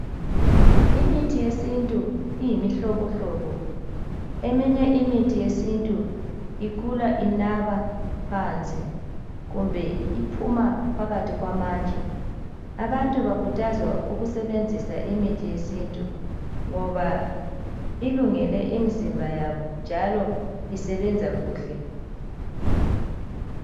Imithi yesintu iyimihlobohlobo eminye imithi yesintu ikhula inaba phansi kumbe iphuma phakathi kwamatshe abantu bakhuthazwa ukusebenzisa iithi yesintu ngoba ilungele imizimba yabo njalo isebenza kuhle